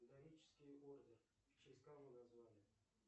дорический орден в честь кого назвали